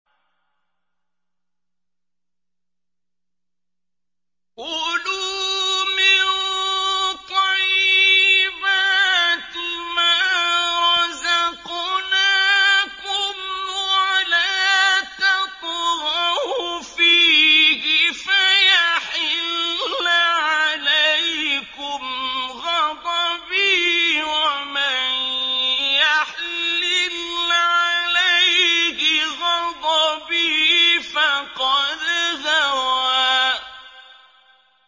كُلُوا مِن طَيِّبَاتِ مَا رَزَقْنَاكُمْ وَلَا تَطْغَوْا فِيهِ فَيَحِلَّ عَلَيْكُمْ غَضَبِي ۖ وَمَن يَحْلِلْ عَلَيْهِ غَضَبِي فَقَدْ هَوَىٰ